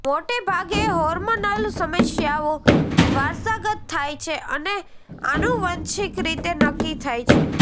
મોટેભાગે હોર્મોનલ સમસ્યાઓ વારસાગત થાય છે અને આનુવંશિક રીતે નક્કી થાય છે